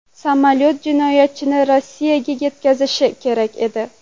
Samolyot jinoyatchini Rossiyaga yetkazishi kerak edi.